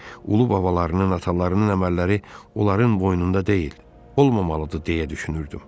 Ulu babalarının, atalarının əməlləri onların boynunda deyil, olmamalıdır deyə düşünürdüm.